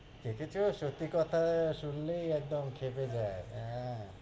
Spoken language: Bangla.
সেটি তো সত্য়ি কথা শুনলেই একদম ক্ষেপে যায়, হ্য়াঁ,